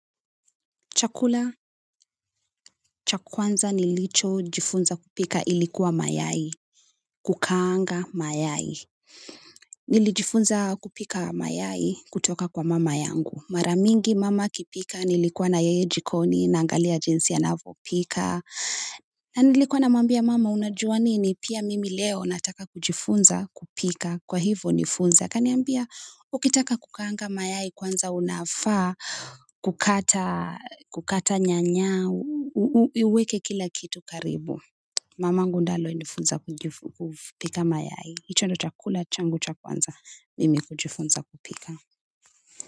Chakula, cha kwanza nilichojifunza kupika ilikuwa mayai, kukaanga mayai. Nilijifunza kupika mayai kutoka kwa mama yangu. Mara mingi mama akipika, nilikuwa na yeye jikoni naangalia jinsi anavyopika. Na nilikuwa na mwambia mama unajua nini pia mimi leo nataka kujifunza kupika kwa hivo nifunze. Akaniambia, ukitaka kukaanga mayai kwanza unafaa, kukata nyanya, uweke kila kitu karibu mamangu ndio alinifunza kupika mayai, hicho ndo cha kula changu cha kwanza mimi kujifunza kupika.